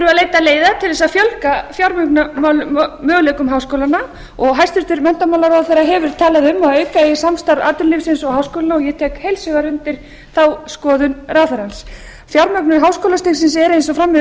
það þurfi að leita leiða til að fjölga fjármögnunarmöguleikum háskólanna og hæstvirtur menntamálaráðherra hefur talað um að auka eigi samstarf atvinnulífsins og háskólanna og ég tek heils hugar undir þá skoðun ráðherrans fjármögnun háskólastigsins er eins og fram hefur